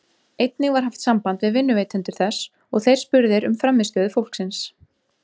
Einnig var haft samband við vinnuveitendur þess og þeir spurðir um frammistöðu fólksins.